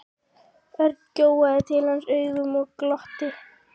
Örn gjóaði til hans augunum og glotti.